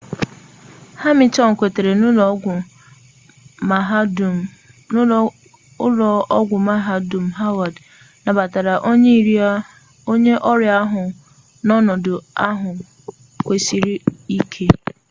hamilton kwetere na ụlọ ọgwụ mahadum howard nabatara onye ọrịa ahụ n'ọnọdụ ahụ kwụsiri ike